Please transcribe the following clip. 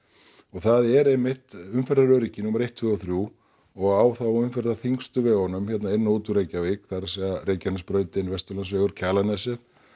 það er einmitt umferðaröryggi númer eitt tvö og þrjú og á þá umferðarþyngstu vegunum hérna inn og út úr Reykjavík það er að Reykjanesbrautin Vesturlandsvegur Kjalarnesið